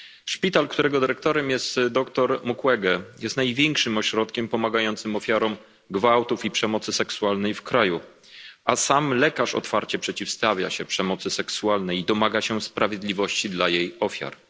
Szpital, którego dyrektorem jest dr Mukwege, jest największym ośrodkiem pomagającym ofiarom gwałtów i przemocy seksualnej w kraju, a sam lekarz otwarcie przeciwstawia się przemocy seksualnej i domaga się sprawiedliwości dla jej ofiar.